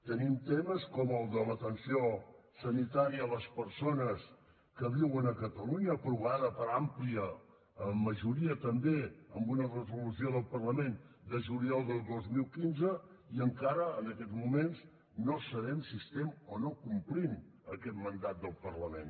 tenim temes com el de l’atenció sanitària a les persones que viuen a catalunya aprovada per àmplia majoria també amb una resolució del parlament de juliol del dos mil quinze i encara en aquests moments no sabem si estem o no complint aquest mandat del parlament